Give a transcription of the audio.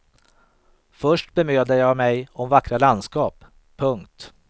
Först bemödade jag mig om vackra landskap. punkt